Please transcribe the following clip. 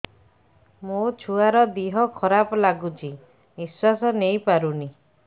ମୋ ଛୁଆର ଦିହ ଖରାପ ଲାଗୁଚି ନିଃଶ୍ବାସ ନେଇ ପାରୁନି